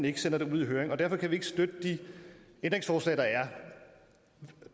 ikke sendes ud i høring derfor kan vi ikke støtte de ændringsforslag der er